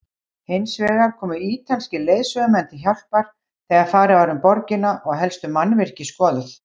Hinsvegar komu ítalskir leiðsögumenn til hjálpar þegar farið var um borgina og helstu mannvirki skoðuð.